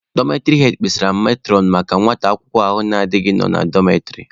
Dọmetịrị hed kpesara metụrọn maka nwata akwụkwọ ahụ na-adighị nọ na dọmetịrị.